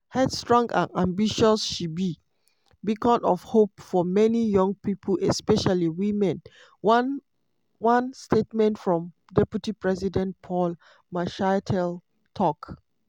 headstrong and ambitious she "be beacon of hope for many young pipo especially women" one one statement from deputy president paul mashatile tok.